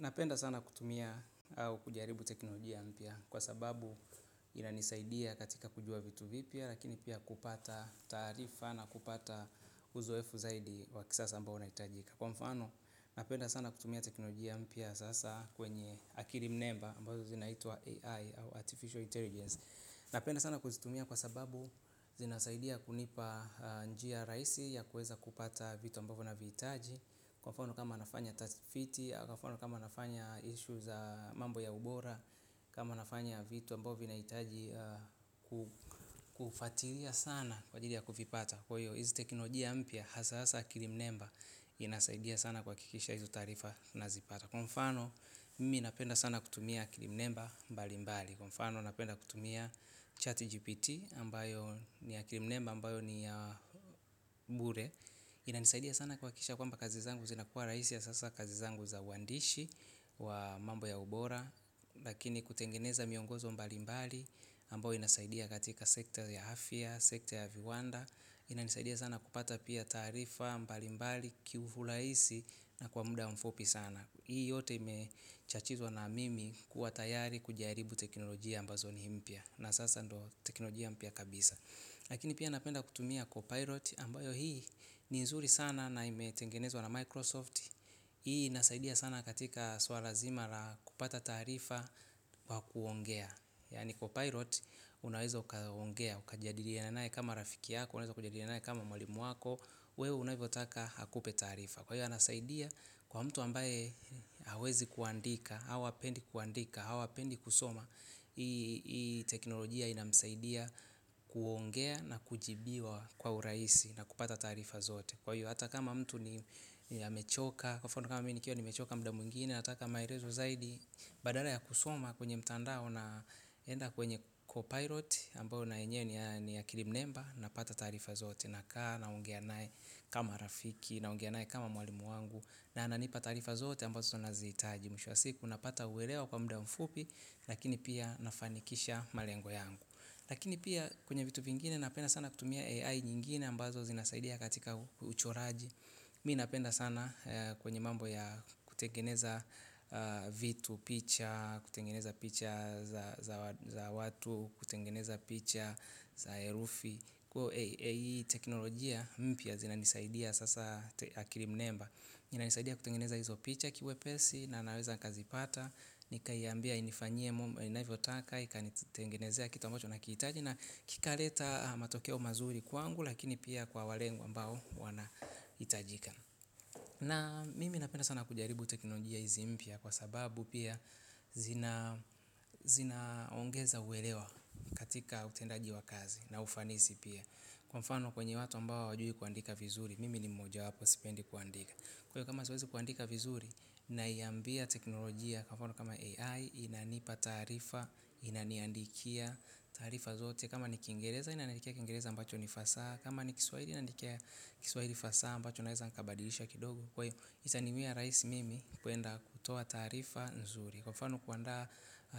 Napenda sana kutumia au kujaribu teknolojia mpya kwa sababu inanisaidia katika kujua vitu vipya lakini pia kupata taarifa na kupata uzoefu zaidi wa kisasa ambao unahitajika. Kwa mfano, napenda sana kutumia teknolojia mpya sasa kwenye akili mnemba ambazo zinaitwa AI au Artificial Intelligence. Napenda sana kuzitumia kwa sababu zinasaidia kunipa njia rahisi ya kuweza kupata vitu ambavo navihitaji. Kwa mfano kama nafanya tafiti, kwa mfano kama nafanya issues za mambo ya ubora. Kama nafanya vitu ambao vinahitaji kufuatilia sana kwa ajili ya kuvipata. Kwa hiyo hizi teknolojia mpya hasa hasa akili mnemba inasaidia sana kuhakikisha hizo taarifa nazipata. Kwa mfano mimi napenda sana kutumia akili mnemba mbalimbali. Kwa mfano napenda kutumia chat GPT ambayo ni akili mnemba ambayo ni ya bure. Inanisaidia sana kuhakisha kwamba kazi zangu zinakuwa rahisi hasa hasa kazi zangu za uandishi wa mambo ya ubora. Lakini kutengeneza miongozo mbalimbali ambayo inasaidia katika sekta ya afya, sekta ya viwanda. Inanisaidia sana kupata pia taarifa mbalimbali kiurahisi na kwa muda mfupi sana. Hii yote ime chachizwa na mimi kuwa tayari kujairibu teknolojia ambazo ni mpya na sasa ndo teknolojia mpya kabisa. Lakini pia napenda kutumia co-pilot ambayo hii ni nzuri sana na imetengenezwa na Microsoft. Hii inasaidia sana katika swala lazima la kupata taarifa wa kuongea. Yaani co-pilot unaweza ukaongea, ukajadili naye kama rafiki yako, unaeza kujadiliana naye kama mwalimu wako. Wewe unavyotaka akupe taarifa. Kwa hiyo anasaidia kwa mtu ambaye hawezi kuandika, au hapendi kuandika, au hapendi kusoma. Hii teknolojia inamsaidia kuongea na kujibiwa kwa urahisi na kupata taarifa zote. Kwa hiyo hata kama mtu ni amechoka. Kwa mfano kama mi nikiwa nimechoka mda mwingine nataka maelezo zaidi. Badala ya kusoma kwenye mtandao na enda kwenye co-pilot ambayo na enyewe ni akili mnemba napata taarifa zote. Nakaa naongea naye kama rafiki naongea naye kama mwalimu wangu. Na ananipa taarifa zote ambazo nazihitaji mwisho wa siku, napata uwelewa kwa mda mfupi lakini pia nafanikisha malengo yangu. Lakini pia kwenye vitu vingine napenda sana kutumia AI nyingine ambazo zinasaidia katika uchoraji. Mi napenda sana kwenye mambo ya kutengeneza vitu, picha kutengeneza picha za watu, kutengeneza picha za herufi kwa AI teknolojia mpya zinanisaidia sasa akili mnemba. Inanisaidia kutengeneza hizo picha kiwepesi na naweza kazipata, nikaiambia inifanyie inavyotaka, ikanitengenezea kitu ambacho nakihitaji na kikaleta matokeo mazuri kwangu lakini pia kwa wa lengo ambao wanahitajika. Na mimi napenda sana kujaribu teknolojia hizi mpya kwa sababu pia zinaongeza uelewa katika utendaji wa kazi na ufanisi pia kwa mfano kwenye watu ambao hawajui kuandika vizuri, mimi ni moja wapo sipendi kuandika kwaivo kama siwezi kuandika vizuri. Naiambia teknolojia kama AI inanipa taarifa inaniandikia taarifa zote. Kama ni kingereza inaniandikia kingereza ambacho ni fasaha. Kama ni kiswaili inaniandikia kiswahili fasa ambacho naweza nikabadilisha kidogo. Kwa iyo itaniwia rahisi mimi kuenda kutoa taarifa nzuri. Kwa mfano kuandaa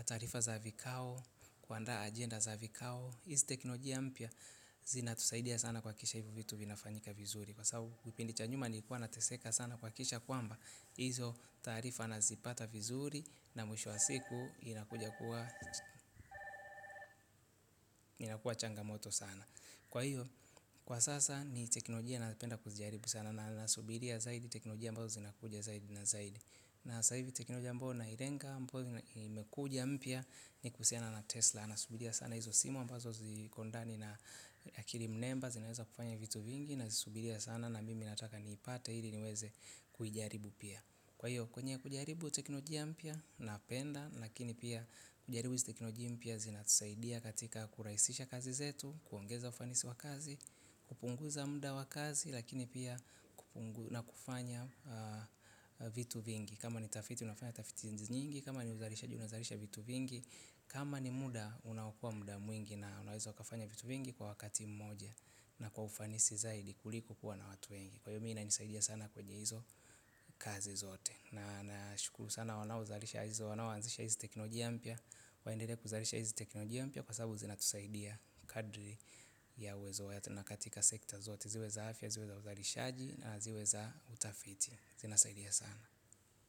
taarifa za vikao, kuandaa agenda za vikao. Hizi teknolojia mpya zinatusaidia sana kuhakikisha hivo vitu vinafanyika vizuri. Kwa sababu vipindi cha nyuma nilikuwa nateseka sana kuhakikisha kwamba izo taarifa nazipata vizuri na mwisho wa siku inakuja kuwa inakuwa changamoto sana. Kwa hiyo kwa sasa ni teknolojia napenda kujaribu sana nasubiria zaidi teknolojia ambao zinakuja zaidi na zaidi na sasa ivi teknolojia ambayo nailenga ambao imekuja mpya ni kuhusiana na tesla nasubiria sana izo simu ambazo ziko ndani na akili mnemba zinaweza kufanya vitu vingi. Nazisubiria sana na mimi nataka niipata hili niweze kuijaribu pia. Kwa hiyo, kwenye kujaribu teknolojia mpya napenda, lakini pia kujaribu teknolojia mpya zinatusaidia katika kurahisisha kazi zetu, kuongeza ufanisi wa kazi, kupunguza mda wa kazi, lakini pia na kufanya vitu vingi. Kama ni utafiti, unafanya utafiti nyingi, kama ni uzalishaji unazalisha vitu vingi, kama ni muda, unaokoa mda mwingi na unaweza ukafanya vitu vingi kwa wakati mmoja na kwa ufanisi zaidi kuliko kuwa na watu wengi. Kwaivo mi inanisaidia sana kwenye hizo kazi zote. Na nashukuru sana wanaozalisha hizo wanaoanzisha hizi teknolojia mpya. Waendelee kuzalisha hizi teknolojia mpya kwa sababu zinatusaidia kadri ya uwezo yetu na katika sekta zote ziwe za afya, ziwe za uzalishaji na ziwe za utafiti. Zinasaidia sana.